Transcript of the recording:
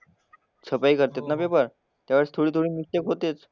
छपाई करत्यात ना पेपर. त्यावेळेस थोडी थोडी मिस्टेक होतेच.